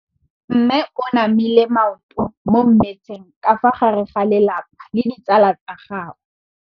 Mme o namile maoto mo mmetseng ka fa gare ga lelapa le ditsala tsa gagwe.